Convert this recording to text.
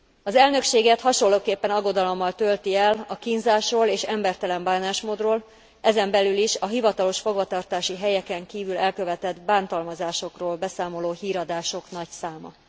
Az elnökséget hasonlóképpen aggodalommal tölti el a kínzásról és embertelen bánásmódról, ezen belül is a hivatalos fogvatartási helyeken kívül elkövetett bántalmazásokról beszámoló híradások nagy száma.